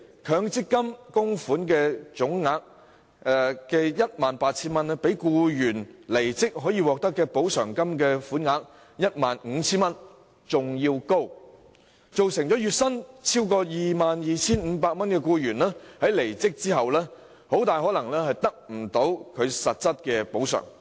強積金供款總額 18,000 元，明顯較僱員離職後可獲的補償款額 15,000 元為高，造成月薪超過 22,500 元的僱員離職後，很可能無法得到實質補償。